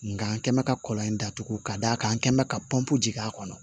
Nga n kɛ bɛ ka kɔlɔn in datugu ka d'a kan n kɛ mɛ ka pɔnpu jigin a kɔnɔ